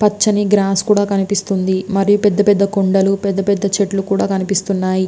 పచ్చని గ్లాస్ కూడా కనిపిస్తుంది. మరి పెద్ద పెద్ద కొండలు పెద్ద పెద్ద చెట్లు కూడా కనిపిస్తున్నాయి.